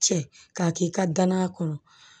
Cɛ k'a k'i ka danaya kɔnɔ